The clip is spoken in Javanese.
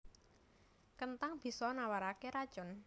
Kenthang bisa nawaraké racun